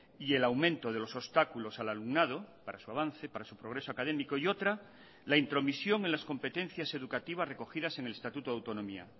y el aumento de los obstáculos al alumnado para su avance para su progreso académico y otra la intromisión en las competencias educativas recogidas en el estatuto de autonomía